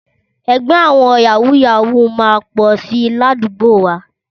Ẹgbẹ́ àwọn Yàwúù-yàwúù máa pọ̀ si ládùúgbò wa.